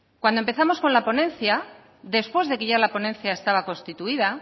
cuando empezamos con la ponencia después de que ya la ponencia estaba constituida